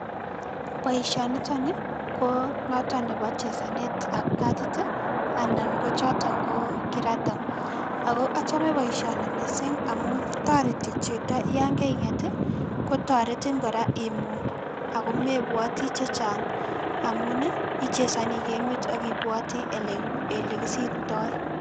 Boishonitonii koo noton nobo chesanet ab katiti anan kochoton ko kirata ako ochome boishoni missing amun toreti chito yon kainget kotoretin kora imuny mebwoti chechang amunii ichesonii kamiit ak ibwatii elekisibtoi.